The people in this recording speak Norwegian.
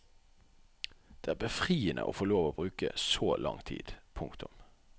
Det er befriende å få lov til å bruke så lang tid. punktum